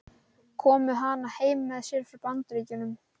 Kom með hana heim með sér frá Bandaríkjunum.